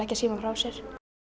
símann frá sér